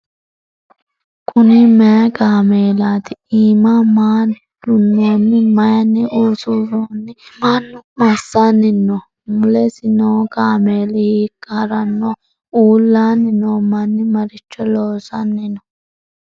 Kunni mayi kaamelaatti? iimma maa duunoonni? Mayiinni usuroonni? Mannu massanni nooho? Mulessi noo kaameelli hiikka harannoho ? Uullanni noo manni maricho loosanni noo?